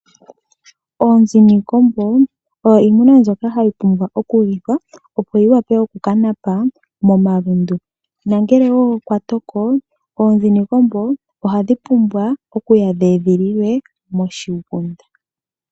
Oonzi niikombo oyo iimuna mbyoka hayi pumbwa okulithwa opo yi wape okuka napa momalundu nongele okwatoko oonzi niikombo ohadhi pumbwa okuya dhi edhililwe moshigunda.